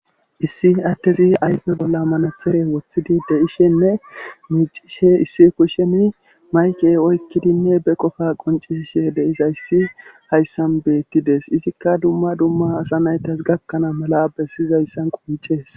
issi addezi ayfe bolla manathere woththidi de ishenne miicishe issi kusheni mayke oykkidinne be qofa qonceshe deiza issi hayssan beettides izikka dumma dumma asa naytas gakkanaa mala bessiyzayssan qoncees